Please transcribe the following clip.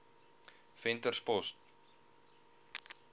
venterspost